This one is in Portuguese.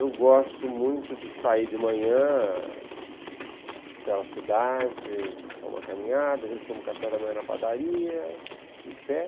Eu gosto muito de sair de manhã pela cidade, tomar uma caminhada, às vezes tomo café da manhã na padaria, em pé.